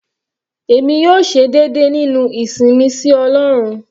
Èmi yóò ṣe déédé nínú ìsìn mi sí ọlọ́run.